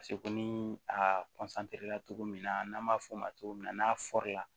ko ni a cogo min na n'an b'a f'o ma cogo min na n'a la